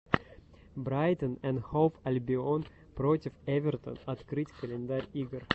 брайтон энд хоув альбион против эвертон открыть календарь игр